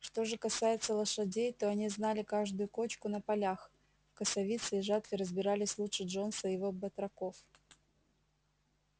что же касается лошадей то они знали каждую кочку на полях в косовице и жатве разбирались лучше джонса и его батраков